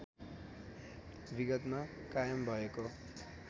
विगतमा कायम भएको